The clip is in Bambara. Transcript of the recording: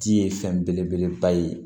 Di ye fɛn belebeleba ye